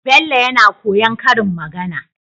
Bello yAna koyan karin magAna